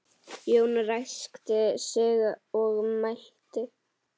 Jón ræskti sig og mælti